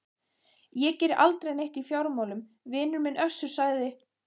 Ég geri aldrei neitt í fjármálum vinur minn Össur, sagði